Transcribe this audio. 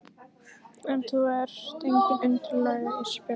En þú ert engin undirlægja Ísbjörg.